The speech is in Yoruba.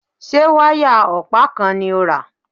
Ṣé wáyà ọ̀pá kan ni ó rà?